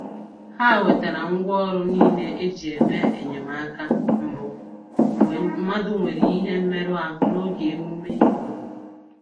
Ha wetere ngwa ọrụ niile e ji eme enyemaka mbụ mgbe mmadụ nwere ihe mmerụ ahụ n'oge emume ime obodo